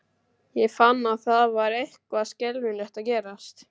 Ég fann að það var eitthvað skelfilegt að gerast.